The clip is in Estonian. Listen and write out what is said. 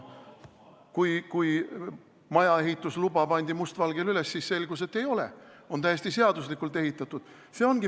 Kui maja ehitusluba pandi must valgel üles, siis selgus, et nii ei ole, see on täiesti seaduslikult ehitatud.